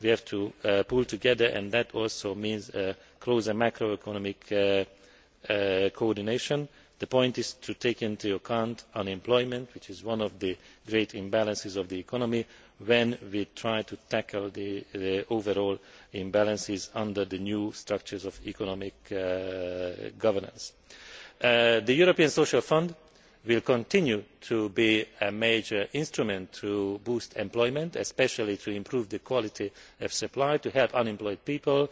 learned. We have to pull together and that also means closer macro economic coordination. The point is to take into account unemployment, which is one of the great imbalances of the economy, when we try to tackle the overall imbalances under the new structures of economic governance. The European Social Fund will continue to be a major instrument to boost employment, especially to improve the quality of supply to help unemployed